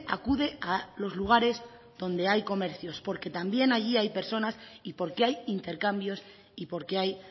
acude a los lugares donde hay comercios porque también allí hay personas y porque hay intercambios y porque hay